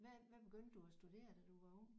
Hvad hvad begyndte du at studere da du var ung?